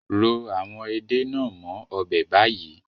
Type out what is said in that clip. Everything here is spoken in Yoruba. Ro àwọn Ede nàá mó ọbẹ̀ bayi